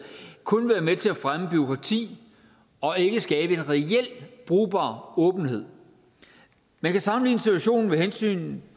kun vil være med til at fremme bureaukrati og ikke skabe en reel brugbar åbenhed man kan sammenligne situationen med hensynet